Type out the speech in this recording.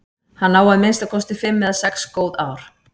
Hann á að minnsta kosti fimm eða sex góð ár.